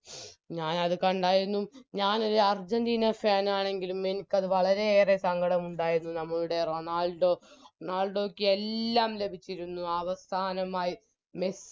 ഞാനത് കണ്ടായിരുന്നു ഞാനൊരു അർജന്റീന Fan ആണെങ്കിലും എനിക്കത് വളരെയേറെ സങ്കടമുണ്ടായിരുന്നു നമ്മളുടെ റൊണാൾഡോ റൊണാൾഡോക്ക് എല്ലാം ലഭിച്ചിരുന്നു അവസാനമായി മെസ്